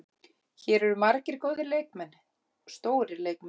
Hér eru margir góðir leikmenn, stórir leikmenn.